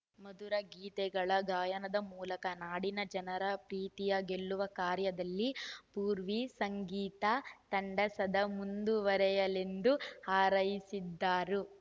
ಮಧುರಗೀತೆಗಳ ಗಾಯನದ ಮೂಲಕ ನಾಡಿನ ಜನರ ಪ್ರೀತಿಯ ಗೆಲ್ಲುವ ಕಾರ್ಯದಲ್ಲಿ ಪೂರ್ವಿ ಸಂಗೀತ ತಂಡ ಸದಾ ಮುಂದುವರೆಯಲೆಂದು ಹಾರೈಸಿದರು